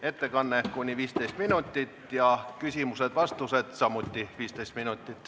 Ettekanne kuni 15 minutit ja küsimused-vastused samuti kuni 15 minutit.